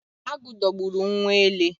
Agụ dogburu nwa ele